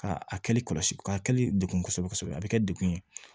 Ka a kɛli kɔlɔsi ka kɛli degun kosɛbɛ kosɛbɛ a bɛ kɛ dekun ye